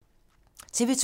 TV 2